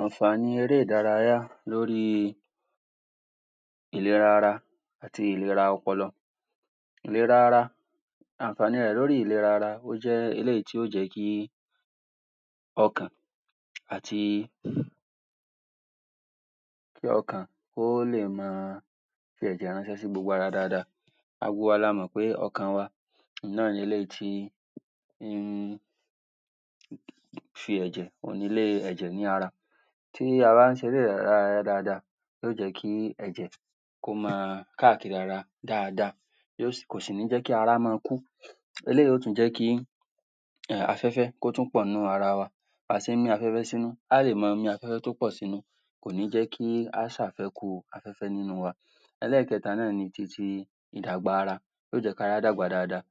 Àǹfààní eré ìdárayá lórí ìlera ara àti ìlera ọpọlọ ìlera ara, àǹfààní rẹ̀ lórí ìlera ara, ó jẹ́ eléyìí tí yóò jẹ́ kí ọkàn àti um ọkàn kí ó le máa fi ẹ̀jẹ̀ ránṣẹ́ sí gbogbo ara dáadáa. gbogbo wa la mọ̀ pé ọkàn wa náà ni eléyìí tí um fi ẹ̀jẹ̀, òun ni ilé ẹ̀jẹ̀ ní ara tí a bá ń ṣe eré ìdárayá dáadáa yóò jẹ́ kí ẹ̀jè kó máa káàkiri ara dáadáa kò sì ní jẹ́ kí ara máa kú. Eléyìí yóò tún jẹ́ kí um afẹ́fẹ́, kó tún pọ̀ ní ara wa a ti ní afẹ́fẹ́ sínú, a ó lè máa mí afẹ́fẹ́ tó pọ̀ sínú. kò ní jẹ́ kí á ṣe àfẹkù afẹ́fẹ́ nínú wa. Ẹlẹ́èkẹ́ta náà ni ti ti, ìdàgbà ara yóò jẹ́ kí á dàgbà, dáadáa.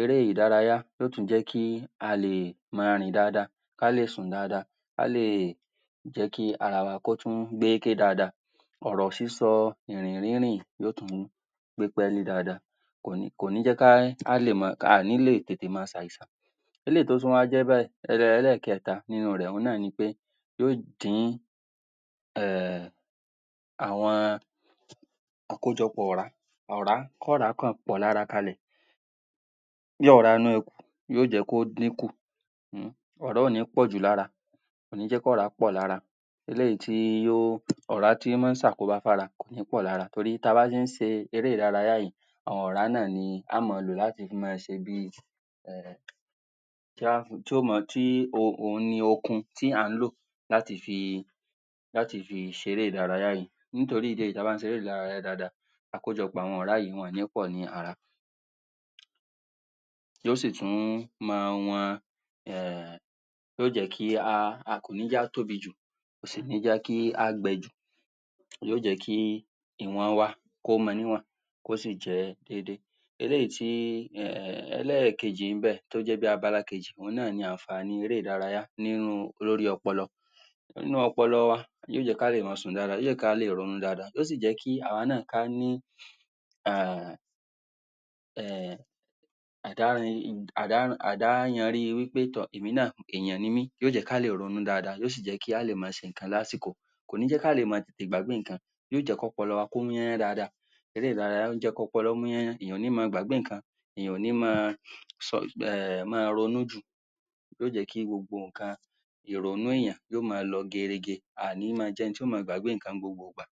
Eré ìdárayá yóò tún jẹ́ kí a lè máa rìn dáadáa ká lè sùn dáadáa. a lè jẹ́ kí ara wa, kó tún pé dáadáa ọ̀rọ̀ sísọ, ìrìn rírìn, yóò tún gbé pẹ́ẹ́lí dáadáa, kò ní kò ní jẹ́ kí á tètè le ṣe àìsàn eléyìí tó tún wá jẹ́ báyìí um Ẹlẹ́èkẹ́ta nínú rẹ̀, òun náà ni pé, yóò dín um àwọn àwọn àkójọpọ̀ ọ̀rá ọ̀rá, kí ọ̀rá kàn pọ̀ lára kalẹ̀ bí ọ̀rá inú ẹkù yóò jẹ́ kó dín kù um ọ̀rá ò ní pọ̀jù lára kò ní jẹ́ kí ọ̀rá pọ̀jù lára eléyìí tí yóò ọ̀rá tí máa ń ṣe àkóbá fún ara kò ní pọ lára torí tí a bá ń ṣe ń ṣe eré ìdárayá yìí àwọn ọ̀rá náà ni, la ó máa lò, láti máa fi ṣe bí um tí, òun ni okun tí à ń lò láti fi láti fi ṣe ere-ìdárayá yìí nítorí ìdí èyí, tí a bá ń ṣe eré-ìdárayá dáadáa àkójọpọ̀ àwọn ọ̀rá yìí, wọn ò ní pọ̀ ní ara yóò sí tún máa wọn um yóò jẹ́ kí a, kò ní jẹ́ kí á tóbi jù kò sì ní jẹ́ kí á gbẹ jù yóò jẹ́ kí ìwọ̀n wa kó mọ níwọ̀n kó sì jẹ́ déedée. Ẹlẹ́yìí tí, um, ẹlẹ́yìí kejì níbẹ̀, tó jẹ́ bi abala kejì, òun náà ni àǹfààní eré-ìdárayá lórí ọpọlọ, inú ọpọlọ yóò jẹ́ kí a lè máa sùn dáadáa, kí a lè rí orun dáadáa, yóò sì jẹ́ kí àwa náà ká ní um um à dá yanrí wí pé tọ̀ èèyàn ni mí, yóo jẹ́ kí a lè ronú dáadáa, yóò sì jẹ́ kí a lè máa ṣe ǹnkan lásìkò kò ní jẹ́ kí á lè máa tètè gbàgbé ǹnkan. Yóò jẹ́ kí ọpọlọ wa kó múyẹ́n dáadáa eré-ìdárayà, ó jẹ́ kí ọpọlọ mú yányán, èèyàn ò ní máa gbàgbé ǹnkan èèyàn ò ní máa um máa ronú jù yóò jẹ́ kí gbogbo ǹnkan ìrònú èèyàn yóò máa lọ gerege, a ò ní máa jẹ́ eni tí yóò máa gbàgbá ǹnkan ní gbogbo ìgbà.